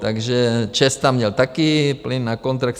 Takže ČEZ tam měl taky plyn na kontrakt.